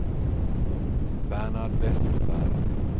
Bernhard Vestberg